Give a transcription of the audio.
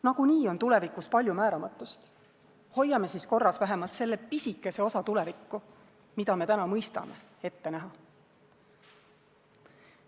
Nagunii on tulevikus palju määramatust, hoiame siis korras vähemalt selle pisikese osa tulevikku, mida me täna mõistame ette näha.